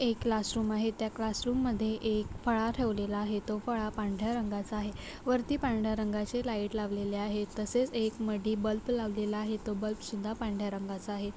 एक क्लासरूम आहे त्या क्लासरूम मध्ये एक फळा ठेवलेला आहे तो फळा पांढऱ्या रंगाचा आहे. वरती पांढऱ्या रंगाची लाईट लावलेली आहे तसेच एक मधी बल्ब लावलेला आहे तो बल्ब तो सुद्धा पांढऱ्या रंगाचा आहे.